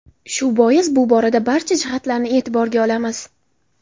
Shu bois bu borada barcha jihatlarni e’tiborga olamiz.